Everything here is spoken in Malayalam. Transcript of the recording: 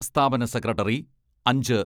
സ്ഥാപന സെക്രട്ടറി അഞ്ച്